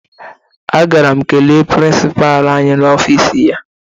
Agara m kelee prịnsịpaa anyị n'ọfiisi ya